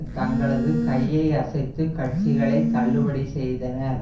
தங்களது கையை அசைத்து கட்சிகளை தள்ளுபடி செய்தனர்